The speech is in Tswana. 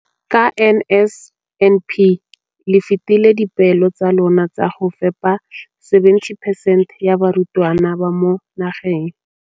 Ka NSNP le fetile dipeelo tsa lona tsa go fepa masome a supa le botlhano a diperesente ya barutwana ba mo nageng.